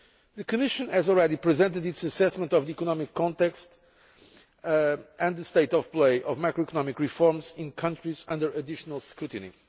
The Commission has already presented its assessment of the economic context and the state of play of macroeconomic reforms in countries under additional scrutiny.